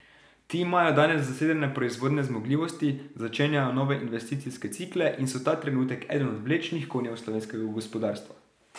Ti imajo danes zasedene proizvodne zmogljivosti, začenjajo nove investicijske cikle in so ta trenutek eden od vlečnih konjev slovenskega gospodarstva.